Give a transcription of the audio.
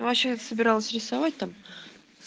ну вообще-то собиралась рисовать там